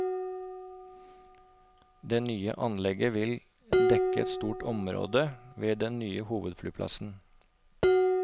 Det nye anlegget vil dekke et stort område ved den nye hovedflyplassen.